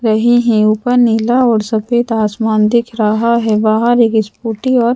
रहे हैं ऊपर नीला और सफेद आसमान दिख रहा है बाहर एक स्कूटी और--